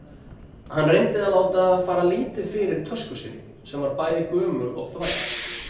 Hann reyndi að láta fara lítið fyrir tösku sinni, sem var bæði gömul og þvæld.